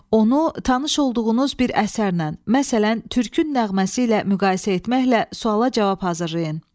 Onu tanış olduğunuz bir əsərlə, məsələn, Türkün nəğməsi ilə müqayisə etməklə suala cavab hazırlayın.